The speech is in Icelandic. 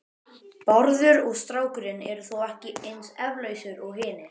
Bárður og strákurinn eru þó ekki eins efalausir og hinir.